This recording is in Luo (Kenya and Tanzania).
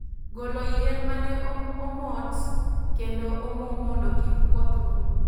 Golo yien mane omot kendo omoo mondo kik koth goo